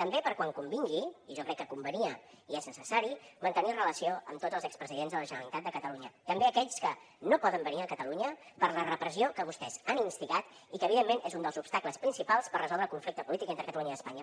també per quan convingui i jo crec que convenia i és necessari mantenir relació amb tots els expresidents de la generalitat de catalunya també aquells que no poden venir a catalunya per la repressió que vostès han instigat i que evidentment és un dels obstacles principals per resoldre el conflicte polític entre catalunya i espanya